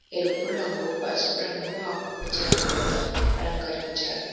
ఎరుపు రంగు పసుపు రంగు ఆకుపచ్చ రంగులతో అలంకరించారు.